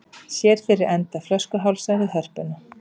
Sér fyrir enda flöskuhálsa við Hörpuna